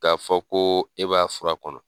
K'a fɔ ko e b'a fura kɔnɔ.